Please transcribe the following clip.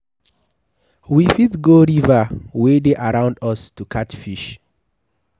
We fit go river wey dey around us to catch fish